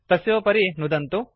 तस्योपरि नुदन्तु